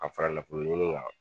A fara nafolo ɲini kan.